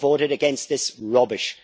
I voted against this rubbish.